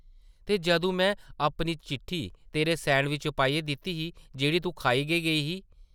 ‘‘ते जदूं में अपनी चिट्ठी तेरे सैंडविच च पाइयै दित्ती ही, जेह्ड़ी तूं खाई गै गेई ही?’’